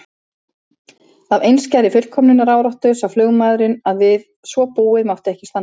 Af einskærri fullkomnunaráráttu sá flugmaðurinn að við svo búið mátti ekki standa.